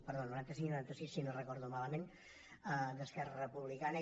perdó noranta cinc i noranta sis si no ho recordo malament d’esquerra republicana